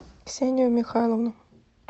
ксению михайловну